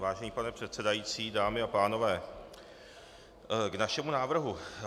Vážený pane předsedající, dámy a pánové, k našemu návrhu.